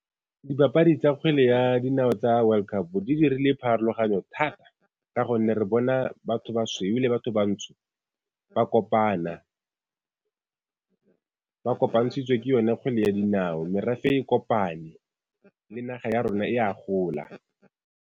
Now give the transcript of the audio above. Dibapadi tsa kgwele ya dinao tsa world cup di dirile pharologanyo thata, ka gonne re bona batho basweu le batho bantsho ba kopana. Ba kopantshitswe ke yone kgwele ya dinao, merafe e kopane le naga ya rona e a gola.